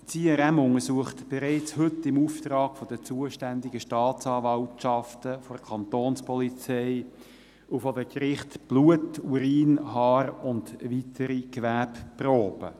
– Das IRM untersucht bereits heute im Auftrag der zuständigen Staatsanwaltschaften, der Kantonspolizei und der Gerichte Blut, Urin, Haar und weitere Gewebeproben.